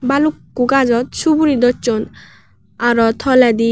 balukko gajot suguri docchon aro toledi.